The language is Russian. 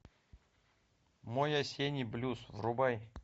мой осенний блюз врубай